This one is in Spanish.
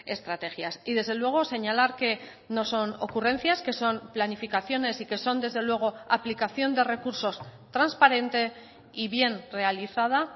estrategias y desde luego señalar que no son ocurrencias que son planificaciones y que son desde luego aplicación de recursos transparente y bien realizada